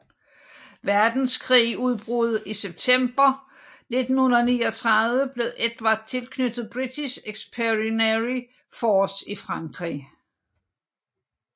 Verdenskrigs udbrud i september 1939 blev Edvard tilknyttet British Expeditionary Force i Frankrig